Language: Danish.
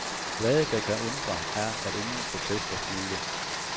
Hvad, der kan undre, er, at ingen protester fulgte.